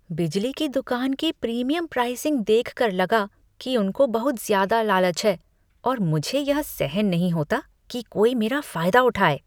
बिजली की दुकान की प्रीमियम प्राइसिंग देखकर लगा कि उनको बहुत ज्यादा लालच है और मुझे यह सहन नहीं होता कि कोई मेरा फायदा उठाए।